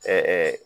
Ɛɛ